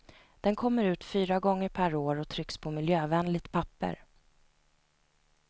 Den kommer ut fyra gånger per år och trycks på miljövänligt papper.